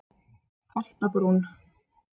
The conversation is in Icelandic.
Holtabrún